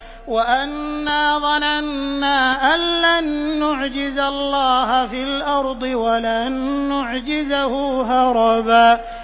وَأَنَّا ظَنَنَّا أَن لَّن نُّعْجِزَ اللَّهَ فِي الْأَرْضِ وَلَن نُّعْجِزَهُ هَرَبًا